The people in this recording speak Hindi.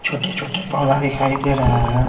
छोटे-छोटे पौधा दिखाई दे रहा हैं।